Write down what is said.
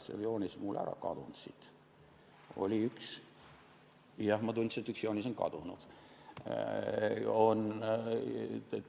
See joonis on mul ära kadunud, jah, ma tundsin, et üks joonis on kadunud.